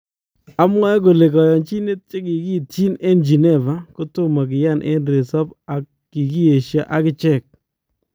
Amwae kole kayanchinet chekikiityi en Geneva kotomoo kiyaan en resoop ak kikiyeshaa akichek